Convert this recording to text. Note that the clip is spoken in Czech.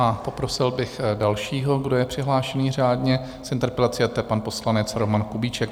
A poprosil bych dalšího, kdo je přihlášený řádně s interpelací, a to je pan poslanec Roman Kubíček.